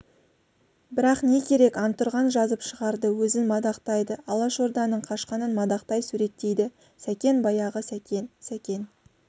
бірақ не керек антұрған жазып шығарды өзін мадақтайды алашорданың қашқанын мадақтай суреттейді сәкен баяғы сәкен сәкен